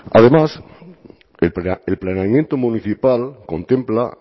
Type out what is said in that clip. además el planeamiento municipal contempla